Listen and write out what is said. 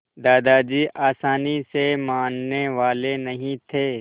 दादाजी आसानी से मानने वाले नहीं थे